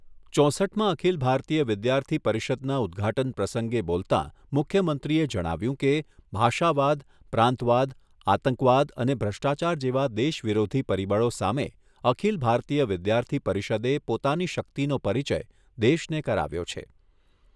ચોસઠમા અખિલ ભારતીય વિદ્યાર્થી પરિષદના ઉદ્ઘાટન પ્રસંગે બોલતા મુખ્યમંત્રીએ જણાવ્યુંં કે, ભાષાવાદ, પ્રાંતવાદ, આતંકવાદ અને ભ્રષ્ટાચાર જેવા દેશ વિરોધી પરિબળો સામે અખિલ ભારતીય વિદ્યાર્થી પરિષદે પોતાની શક્તિનો પરિચય દેશને કરાવ્યો છે.